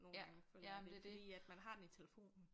Nogle gange føler jeg men fordi at man har den i telefonen